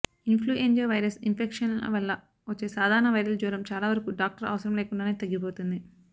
in ఫ్లుయెంజా virus infection వల్ల వచ్చే సాధారణ వైరల్ జ్వరం చాలావరకు డాక్టర్ అవసరం లేకుండానే తగ్గిపోతుంది